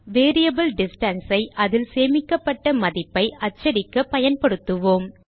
variable distance ஐ அதில் சேமிக்கப்பட்ட மதிப்பை அச்சடிக்க பயன்படுத்துவோம்